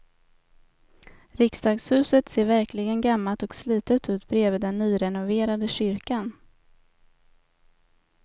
Riksdagshuset ser verkligen gammalt och slitet ut bredvid den nyrenoverade kyrkan.